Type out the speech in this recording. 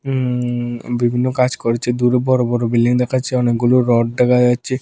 উম বিভিন্ন কাজ করছে দূরে বড় বড় বিল্ডিং দেখাচ্ছে অনেকগুলো রড দেখা যাচ্ছে।